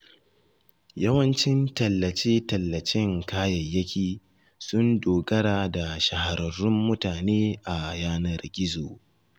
Yawancin tallace-tallacen kayayyaki sun dogara da shahararrun mutane a yanar gizo.